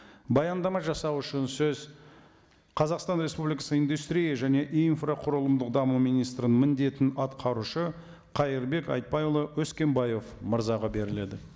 баяндама жасау үшін сөз қазақстан республикасы индустрия және инфрақұрылымдық даму министрінің міндетін атқарушы қайырбек айтбайұлы өскенбаев мырзаға беріледі